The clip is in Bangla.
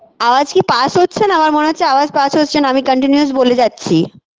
আওয়াজ কী pass হচ্ছে না আমার মনে হচ্ছে আওয়াজ pass হচ্ছে না আমি continuous বলে যাচ্ছি